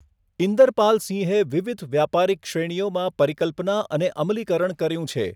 ઇન્દરપાલ સિંહે વિવિધ વ્યાપારીક શ્રેણીઓમાં પરિકલ્પના અને અમલીકરણ કર્યું છે.